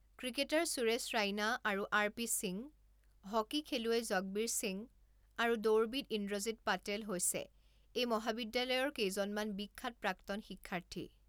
Cricketer Suresh Raina আৰু R P Singh, hockey খেলুৱৈ জগবীৰ সিং, আৰু দৌৰবিদ ইন্দ্ৰজিৎ পাটেল হৈছে এই মহাবিদ্যালয়ৰ কেইজনমান বিখ্যাত প্ৰাক্তন শিক্ষাৰ্থী।